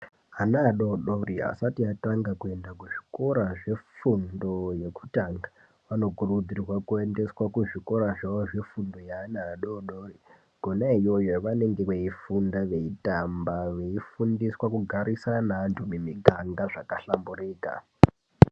Ana adodori asati atanga kuyenda kuzvikora zvefundo yekutanga vanokurudzirwa kuyenda kuzvikora zvefundo yevana vadodori, kunayoyi yavanenge veyifunda veyitamba, veyifundiswa kugarisana nantu mumiganga zvakahlamburika.